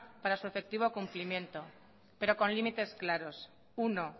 para su efectivo cumplimiento pero con límites claros uno